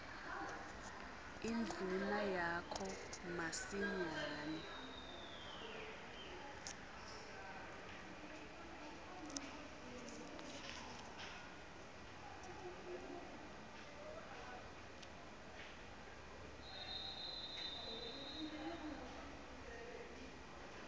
indvuna yakho masinyane